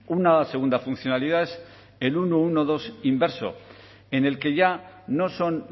una segunda funcionalidad es el ciento doce inverso en el que ya no son